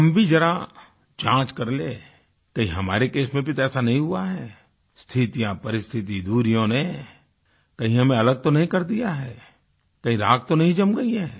हम भी ज़रा जाँच कर लें कहीं हमारे केस में भी तो ऐसा नहीं हुआ है स्थितियाँ परिस्थिति दूरियों ने कहीं हमें अलग तो नहीं कर दिया है कहीं राख तो नहीं जम गई है